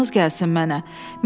yazığınız gəlsin mənə.